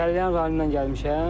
Səlyan rayonundan gəlmişəm.